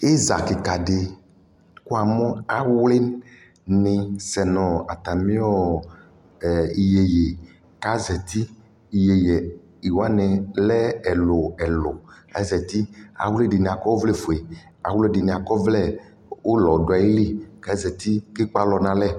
Iza kika dιkʋ amu awli nι sɛ nʋɔ atamiɔ ɛ iyeye kazeti Iyeye wani lɛ ɛlʋɛlʋ kazeti Awli dι nι akɔ ɔvlɛ fue, awli dι nι akɔ ɔvlɛ ʋlɔ dʋ ayʋ lι kʋ azati kʋ ekpe alɔ nʋ alɛ